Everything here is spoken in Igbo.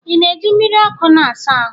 ị na-eji mmiri ọkụ na-asa ahụ?